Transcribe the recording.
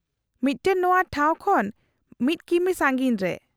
-ᱢᱤᱫᱴᱟᱝ ᱱᱚᱶᱟ ᱴᱷᱟᱶ ᱠᱷᱚᱱ ᱑ ᱠᱤᱢᱤ ᱥᱟᱺᱜᱤᱧ ᱨᱮ ᱾